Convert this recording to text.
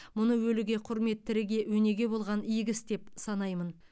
мұны өліге құрмет тіріге өнеге болған игі іс деп санаймын